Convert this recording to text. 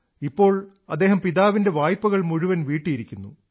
ഇപ്പോൾ അദ്ദേഹം പിതാവിന്റെ വായ്പകൾ മുഴുവൻ വീട്ടിയിരിക്കുന്നു